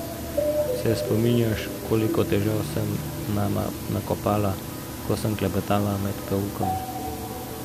Se spominjaš, koliko težav sem nama nakopala, ko sem klepetala med poukom?